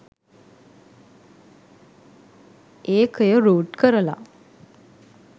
ඒකය root කරලා